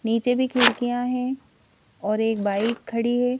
नीचे भी खिड़कियां हैं और एक बाइक खड़ी है.